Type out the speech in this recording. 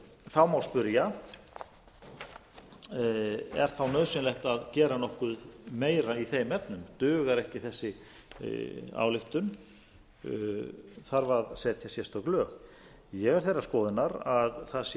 þá má spyrja er þá nauðsynlegt að gera nokkuð meira í þeim efnum dugar ekki þessi ályktun þarf að setja sérstök lög ég er þeirrar skoðunar að það sé rétt